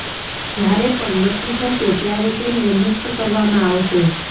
જ્યારે પણ નક્કી થશે ત્યારે તેમને મુક્ત કરવામાં આવશે